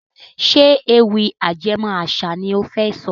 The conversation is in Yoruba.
Ṣé ewì ajẹmó àṣà ni ó fẹ́ sọ?